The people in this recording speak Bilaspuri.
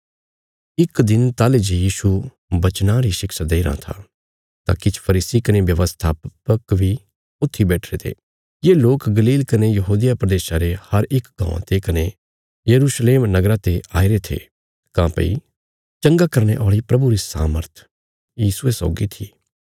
इक दिन ताहली जे यीशु बचनां री शिक्षा देईराँ था तां किछ फरीसी कने व्यवस्थापक बी ऊथी बैठिरे थे ये लोक गलील कने यहूदिया प्रदेशा रे हर इक गाँवां ते कने यरूशलेम नगरा ते आईरे थे काँह्भई चंगा करने औल़ी प्रभुरी सामर्थ यीशुये सौगी थी